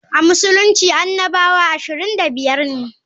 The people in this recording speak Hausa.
A Musulunci annabawa 25 ne.